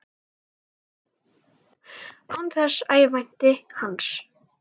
Án þess að ég vænti hans.